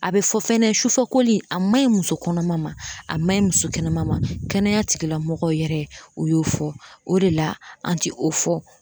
A be fɔ fɛnɛ sufɛ koli a maɲi muso kɔnɔma ma a ma ɲi muso kɛnɛma ma kɛnɛya tigilamɔgɔw yɛrɛ u y'o fɔ o de la an ti o fɔ